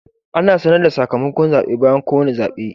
Ana sanar da sakamakon zaɓe bayan kowane zaɓe.